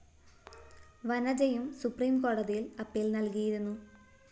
വനജയും supreme കോടതിയില്‍ appeal നല്‍കിയിരുന്നു